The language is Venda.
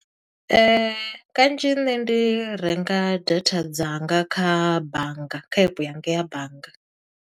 Kanzhi nṋe ndi renga data dzanga kha bannga, kha epe yanga ya bannga.